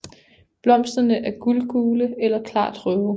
Blomsterne er guldgule eller klart røde